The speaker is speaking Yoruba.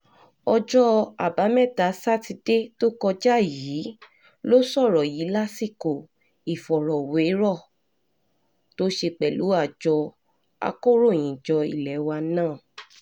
ọjọ́ àbámẹ́ta sátidé tó kọjá yìí ló sọ̀rọ̀ yìí lásìkò ìfọ̀rọ̀wérọ̀ tó ṣe pẹ̀lú àjọ akọ̀ròyìnjọ ilé wa nan